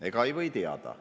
Ega ei või teada.